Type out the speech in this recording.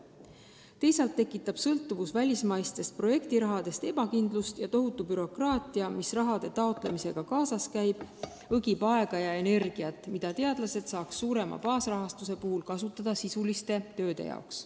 Teisalt tekitab sõltuvus välismaistest projektirahadest ebakindlust ja tohutu bürokraatia, mis raha taotlemisega kaasas käib, õgib aega ja energiat, mida teadlased saaks suurema baasrahastuse puhul kasutada sisulise töö tegemiseks.